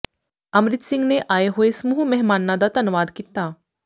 ਅੰਮ੍ਰਿਤ ਸਿੰਘ ਨੇ ਆਏ ਹੋਏ ਸਮੂਹ ਮਹਿਮਾਨਾਂ ਦਾ ਧੰਨਵਾਦ ਕੀਤਾ